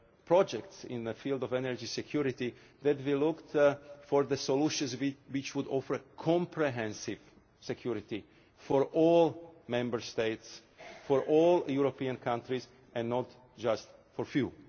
for projects in the field of energy security, we look for the solutions which offer comprehensive security for all Member States, for all European countries and not just for a